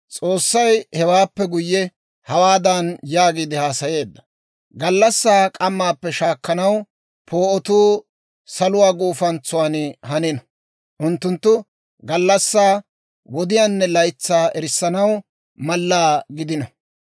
S'oossay hewaappe guyye hawaadan yaagiide haasayeedda; «Gallassaa k'ammaappe shaakkanaw poo'otuu saluwaa guufantsuwaan hanino; unttuttu gallassaa, wodiyaanne laytsaa erissanaw mallaa gidino;